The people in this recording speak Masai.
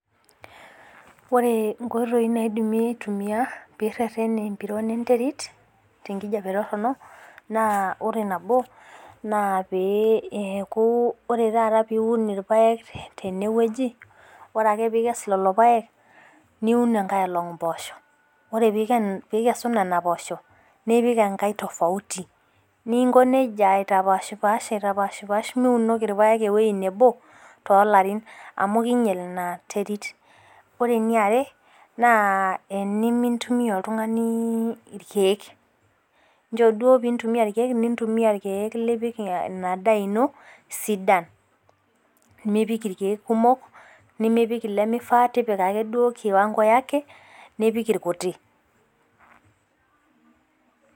Ore nkoitoi naidimi aitumia pee irerenie empironi entering tenkijape toronok naa ore nabo naa eeku ore taata peeku ituno irpake teneweji ore Ake pikes lelo park niun enkar olong' imposho. Ore pikesu Nena poosho nipik enkae tofautu ninko neija aitapash pash aita pash pash miunoki irpaek eweji nebo too Latin amu kinyal ina terit. Ore eni are naa teni mintumia oltung'ani irkeek. Ncho duo pee intumoa irkeek mintumia irkeek lipik ina daa into sidan. Nipik irkeek kumok nemipik ilemifaa tepika Ake duo kiwango yake nipik irkutik.